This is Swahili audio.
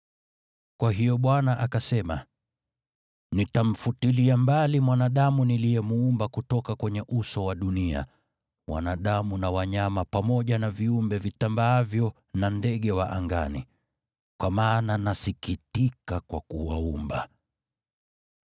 Kwa hiyo Bwana akasema, “Nitamfutilia mbali mwanadamu niliyemuumba kutoka kwenye uso wa dunia, wanadamu na wanyama, pamoja na viumbe vitambaavyo na ndege wa angani. Kwa maana nasikitika kuwaumba.”